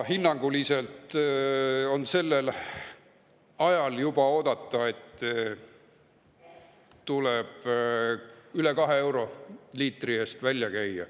On oodata, et sellel ajal tuleb hinnanguliselt juba üle kahe euro liitri eest välja käia.